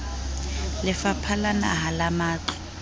lefapha la naha la matlo